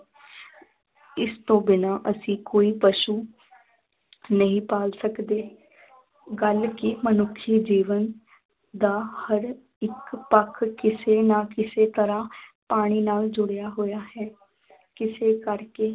ਇਸ ਤੋਂ ਬਿਨਾਂ ਅਸੀਂ ਕੋਈ ਪਸ਼ੂ ਨਹੀਂ ਪਾਲ ਸਕਦੇ ਗੱਲ ਕਿ ਮਨੁੱਖੀ ਜੀਵਨ ਦਾ ਹਰ ਇੱਕ ਪੱਖ ਕਿਸੇ ਨਾ ਕਿਸੇ ਤਰ੍ਹਾਂ ਪਾਣੀ ਨਾਲ ਜੁੜਿਆ ਹੋਇਆ ਹੈ ਇਸੇ ਕਰਕੇ